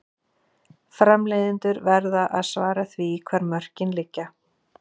Framleiðendur verða að svara því hvar mörkin liggja.